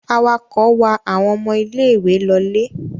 Awakọ̀ wa àwọn ọmọ ilé-ìwé lọlé?